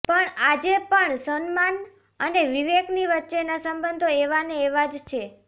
પણ આજે પણ સલમાન અને વિવેકની વચ્ચેના સંબંધો એવાને એવા જ છે